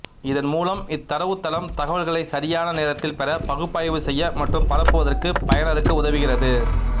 இதன் மூலம் இத்தரவுத்தளம் தகவல்களைச் சரியான நேரத்தில் பெற பகுப்பாய்வு செய்ய மற்றும் பரப்புவதற்குப் பயனருக்கு உதவுகிறது